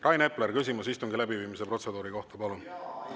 Rain Epler, küsimus istungi läbiviimise protseduuri kohta, palun!